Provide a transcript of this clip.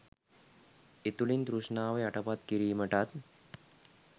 එතුළින් තෘෂ්ණාව යටපත් කිරීමටත්,